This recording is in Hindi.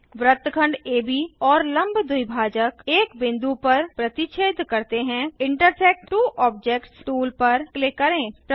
वृत्तखंड एबी और लंब द्विभाजक एक बिंदु पर प्रतिच्छेद करते हैं इंटरसेक्ट त्वो ऑब्जेक्ट्स टूल पर क्लिक करें